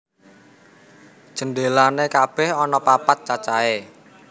Jendelané kabèh ana papat cacahé